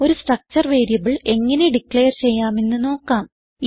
ഒരു structure variable എങ്ങനെ declare ചെയ്യാമെന്ന് നോക്കാം